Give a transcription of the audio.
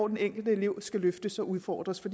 den enkelte elev skal løftes og udfordres på